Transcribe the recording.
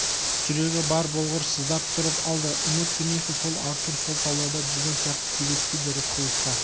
жүрегі бар болғыр сыздап тұрып алды үміт дүниесі сол артур сол тауларда жүрген сияқты елестейді рысқұловқа